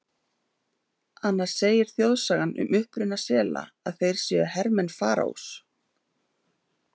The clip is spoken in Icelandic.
Annars segir þjóðsagan um uppruna sela að þeir séu hermenn Faraós.